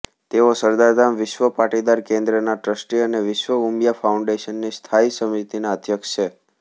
તેઓ સરદાર ધામ વિશ્વ પાટીદાર કેન્દ્રના ટ્રસ્ટી અને વિશ્વ ઉમિયા ફાઉન્ડેશનની સ્થાયી સમિતિના અધ્યક્ષ છે